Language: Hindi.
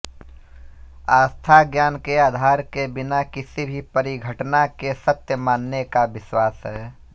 आस्था ज्ञान के आधार के बिना किसी भी परिघटना के सत्य मानने का विश्वास है